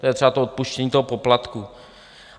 To je třeba to odpuštění toho poplatku.